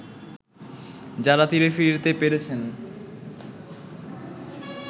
যারা তীরে ফিরতে পেরেছেন